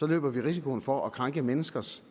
løber vi risikoen for at krænke menneskers